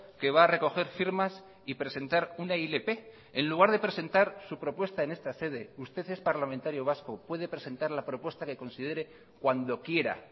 que va a recoger firmas y presentar una ilp en lugar de presentar su propuesta en esta sede usted es parlamentario vasco puede presentar la propuesta que considere cuando quiera